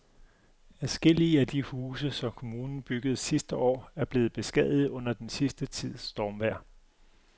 Adskillige af de huse, som kommunen byggede sidste år, er blevet beskadiget under den sidste tids stormvejr.